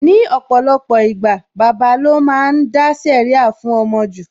Ní ọ̀pọ̀lọpọ̀ ìgbà, bàbà lo máa ń dá sẹ̀ríà fún ọmọ jù